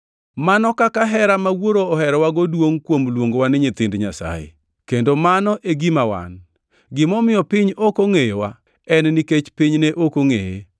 Mano kaka hera ma Wuoro oherowago duongʼ kuom luongowa ni nyithind Nyasaye. Kendo mano e gima wan! Gimomiyo piny, ok ongʼeyowa en nikech piny ne ok ongʼeye.